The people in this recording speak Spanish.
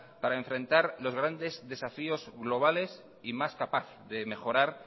para enfrentar los grandes desafíos globales y más capaz de mejorar